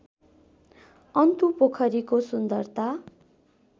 अन्तु पोखरीको सुन्दरता